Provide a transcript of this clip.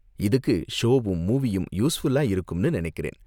இதுக்கு ஷோவும் மூவியும் யூஸ்ஃபுல்லா இருக்கும்னு நினைக்கிறேன்.